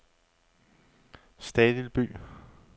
Stadilby